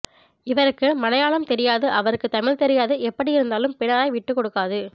இவருக்கு மலையாளம் தெரியாது அவருக்கு தமிழ் தெரியாது எப்படி இருந்தாலும் பிணராய் விட்டுக்கொடுக்காது